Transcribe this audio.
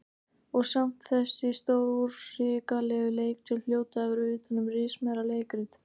Og samt þessi stórhrikalegu leiktjöld hljóta að vera utan um rismeira leikrit.